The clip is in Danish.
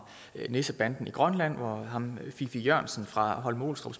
nissebanden i grønland hvor fiffig jørgensen fra holme olstrup